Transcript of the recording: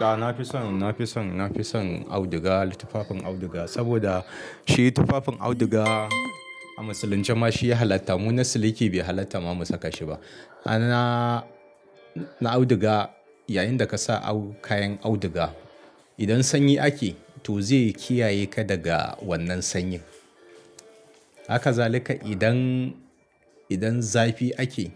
A na fison, na fison, na fison auduga tufafin auduga saboda shi tufafin auduga a musulunci ma shi ya halatta. Mu na siliki bai halatta ma mu saka shi ba. Na, na auduga yayinda ka sa kayan auduga idan sanyi ake to zai kiyaye ka daga wannan sanyi. Haka zalika idan, idan zafi ake